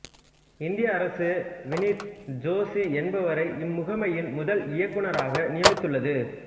இந்திய அரசு விநீத் ஜோஷி என்பவரை இம்முகமையின் முதல் இயக்குநராக நியமித்துள்ளது